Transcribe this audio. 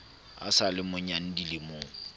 a sa le monnyane dilemong